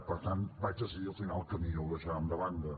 per tant vaig decidir al final que millor ho deixàvem de banda